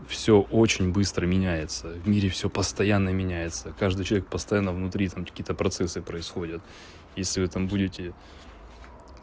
всё очень быстро меняется в мире всё постоянно меняется каждый человек постоянно внутри там какие-то процессы происходят если вы там будете